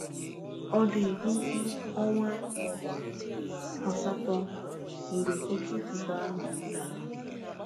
Ọ dị ime ọnwa asatọ mgbe oke ifufe ahụ dara.